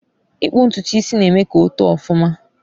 Ịkpu ntutu isi na-eme ka o too ọfụma